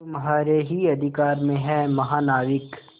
तुम्हारे ही अधिकार में है महानाविक